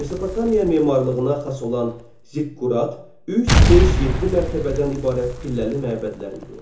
Mesopotamiya memarlığına xas olan ziqqurat, 3, 5, 7 mərtəbədən ibarət pilləli məbədlər idi.